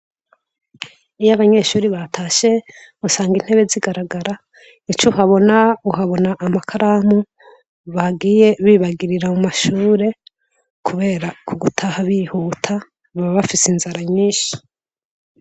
Iyo abanyeshure batashe, usanga intebe zigaragara, ico uhabona uhabona amakaramu bagiye bibagirira mu mashure, kubera kugutaha bihuta, baba bafise inzira nyinshi.